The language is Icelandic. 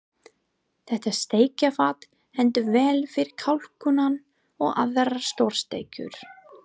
Þetta steikarfat hentar vel fyrir kalkúnann og aðrar stórsteikur.